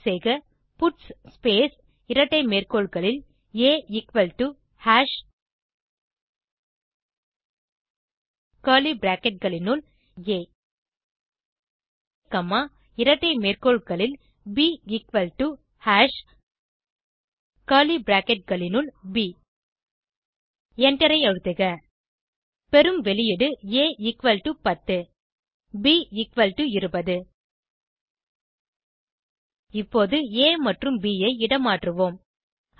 type செய்க puts space இரட்டை மேற்கோள்களில் ஆ எக்குவல் டோ ஹாஷ் கர்லி bracketகளினுள் ஆ காமா இரட்டை மேற்கோள்களில் ப் எக்குவல் டோ ஹாஷ் கர்லி bracketகளினுள் ப் எண்டரை அழுத்துக பெறும் வெளியீடு a10 b20 இப்போது ஆ மற்றும் ப் ஐ இடமாற்றுவோம்